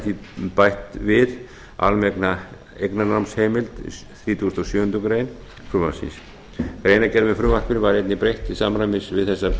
því bætt við vegna eignarnámsheimildar í þrítugasta og sjöundu greinar frumvarpsins greinargerð með frumvarpinu var einnig breytt til samræmis við þessar